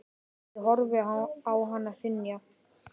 Ég horfði á hann hrynja.